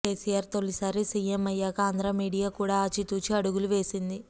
కేసీఆర్ తొలిసారి సీఎం అయ్యాక ఆంధ్ర మీడియా కూడా ఆచితూచి అడుగులు వేసింది